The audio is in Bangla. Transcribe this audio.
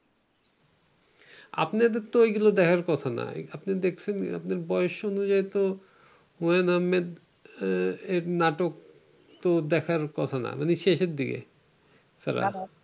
আপনাদেরতো ওইগুলো দেখার কথা না, আপনি দেখছেন, আপনার বয়স অনুযায়ীতো হুমায়ূন আহমেদ এর নাটক তো দেখার কথা না। মানে শেষে দিকে।